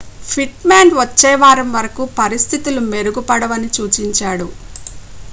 pit Maan వచ్చే వారం వరకు పరిస్థితులు మెరుగుపడవని సూచించాడు